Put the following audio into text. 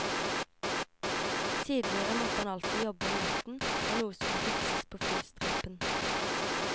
Tidligere måtte han alltid jobbe om natten når noe skulle fikses på flystripen.